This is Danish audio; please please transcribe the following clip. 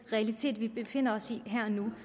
realiteter vi befinder os i her og nu